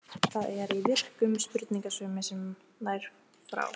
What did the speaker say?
Það er í virkum sprungusveimi sem nær frá